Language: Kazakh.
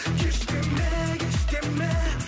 кеш деме кеш деме